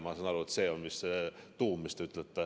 Ma saan aru, et see on vist teie öeldu tuum?